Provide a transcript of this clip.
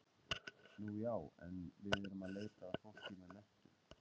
Nú já, en við erum að leita að fólki með menntun.